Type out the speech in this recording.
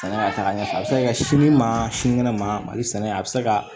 Sɛnɛ ka taga ɲɛfɛ a bɛ se ka kɛ sini ma sini kɛnɛ ma mali sɛnɛ a bɛ se ka